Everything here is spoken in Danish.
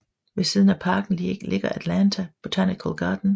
Ved siden af parken ligger Atlanta Botanical Garden